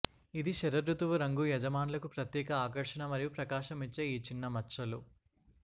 ఇది శరదృతువు రంగు యజమానులకు ప్రత్యేక ఆకర్షణ మరియు ప్రకాశం ఇచ్చే ఈ చిన్న మచ్చలు